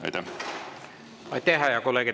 Aitäh, hea kolleeg!